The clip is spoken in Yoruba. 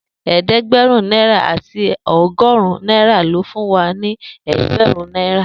Eedegberun naira ati ọgọrun naira lo fún wa ni ẹẹgbarun naira.